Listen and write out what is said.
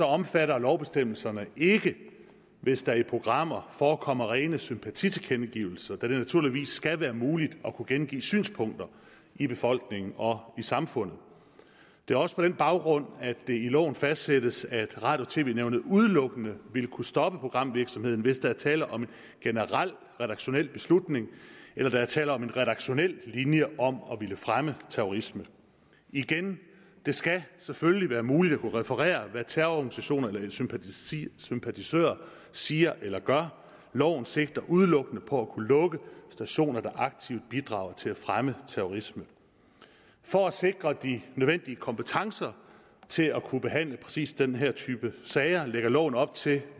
omfatter lovbestemmelserne ikke hvis der i programmer forekommer rene sympatitilkendegivelser da det naturligvis skal være muligt at kunne gengive synspunkter i befolkningen og i samfundet det er også på den baggrund at det i loven fastsættes at radio og tv nævnet udelukkende vil kunne stoppe programvirksomheden hvis der er tale om en generel redaktionel beslutning eller der er tale om en redaktionel linje om at ville fremme terrorisme igen det skal selvfølgelig være muligt at kunne referere hvad terrororganisationer eller sympatisører siger eller gør loven sigter udelukkende på at kunne lukke stationer der aktivt bidrager til at fremme terrorisme for at sikre de nødvendige kompetencer til at kunne behandle præcis den her type sager lægger loven op til at